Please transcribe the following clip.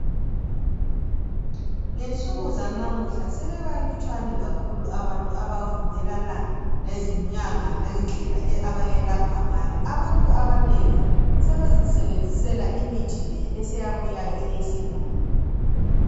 Ngensuku zanamuhla sebebalutshwane kakhulu abantu abavumelana lezinyanga langendlela abayelapha ngayo, abantu abanengi sebezisebenzisela imithi le eseyabuyayo eyesilungu.